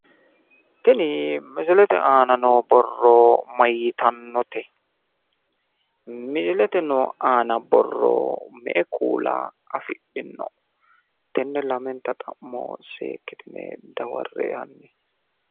Tini misilete aana noo borro mayitannote misilete aana noo borro me''e kuula afidhino tenne lamenta xa'mo seekkitine dawarre''e hanni.